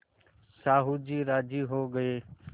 साहु जी राजी हो गये